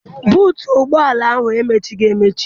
Buutu ụgbọala ahụ emechighi emechi.